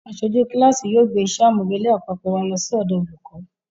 Aṣojú kíláàsì yóò gbé iṣẹ́ àmúrelé àpapọ̀ wa lọ sọ́dọ̀ olùkọ́